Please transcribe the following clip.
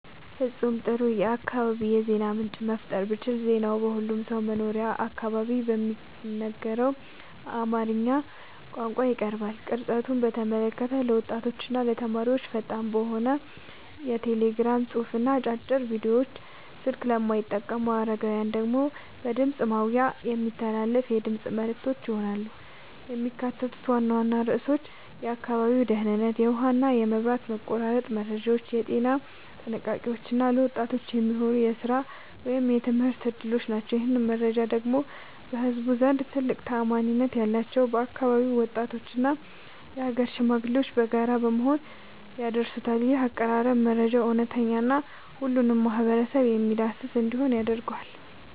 ፍጹም ጥሩ የአካባቢ የዜና ምንጭ መፍጠር ብችል ዜናው በሁሉም ሰው መኖሪያ አካባቢ በሚነገረው በአማርኛ ቋንቋ ይቀርባል። ቅርጸቱን በተመለከተ ለወጣቶችና ተማሪዎች ፈጣን በሆነ የቴሌግራም ጽሑፍና አጫጭር ቪዲዮዎች፣ ስልክ ለማይጠቀሙ አረጋውያን ደግሞ በድምፅ ማጉያ የሚተላለፉ የድምፅ መልዕክቶች ይሆናሉ። የሚካተቱት ዋና ዋና ርዕሶች የአካባቢው ደህንነት፣ የውሃና መብራት መቆራረጥ መረጃዎች፣ የጤና ጥንቃቄዎች እና ለወጣቶች የሚሆኑ የሥራ ወይም የትምህርት ዕድሎች ናቸው። ይህንን መረጃ ደግሞ በህዝቡ ዘንድ ትልቅ ተአማኒነት ያላቸው የአካባቢው ወጣቶችና የአገር ሽማግሌዎች በጋራ በመሆን ያደርሱታል። ይህ አቀራረብ መረጃው እውነተኛና ሁሉንም ማህበረሰብ የሚያዳርስ እንዲሆን ያደርገዋል።